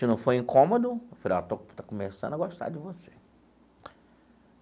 Se não for incômodo, afinal, estou estou começando a gostar de você.